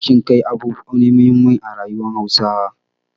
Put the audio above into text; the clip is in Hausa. Kishin kai abu ne muhimmi a rayuwar Hausawa.